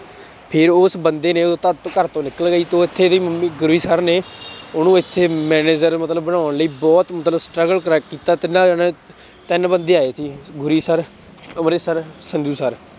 ਫਿਰ ਉਸ ਬੰਦੇ ਨੇ ਉਦੋਂ ਤਾਂ ਘਰ ਤੋਂ ਨਿਕਲ ਗਿਆ ਸੀ ਉਹ ਇੱਥੇ ਦੇ ਗੁਰੀ ਸਰ ਨੇ ਉਹਨੂੰ ਇੱਥੇ manager ਮਤਲਬ ਬਣਾਉਣ ਲਈ ਬਹੁਤ ਮਤਲਬ struggle ਕੀਤਾ ਤਿੰਨਾ ਜਾਣਿਆਂ ਤਿੰਨ ਬੰਦੇ ਆਏ ਸੀ Guri sir Amrit sir Sanju sir